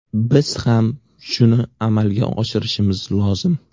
Biz ham shuni amalga oshirishimiz lozim.